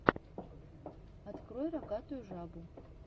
открой рогатую жабу